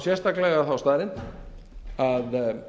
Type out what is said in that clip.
sérstaklega þá staðreynd að